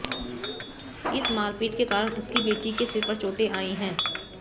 इस मारपीट के कारण उसकी बेटी के सिर पर चोटें आई हैं